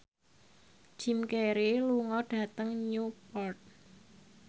Jim Carey lunga dhateng Newport